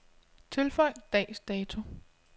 Tilføj dags dato.